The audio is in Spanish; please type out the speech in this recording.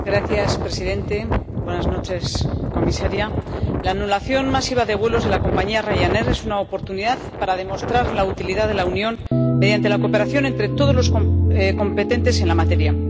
Señor presidente, señora comisaria, la anulación masiva de vuelos de la compañía Ryanair es una oportunidad para demostrar la utilidad de la Unión mediante la cooperación entre todas las partes competentes en la materia.